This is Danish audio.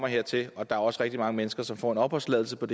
hertil og der er også rigtig mange mennesker som får en opholdstilladelse på